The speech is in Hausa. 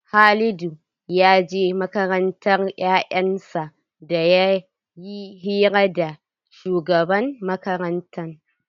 Halidu ya je makarantar 'ya'yan sa dan yayi hira da shugaban makaranta.